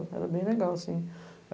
Era bem legal, assim.